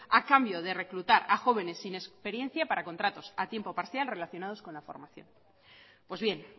a cambio de reclutar a jóvenes sin experiencia para contratos a tiempo parcial relacionados con la formación pues bien